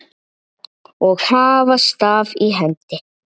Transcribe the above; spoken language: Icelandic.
og hafa staf í hendi.